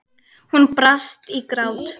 Hún brast í grát.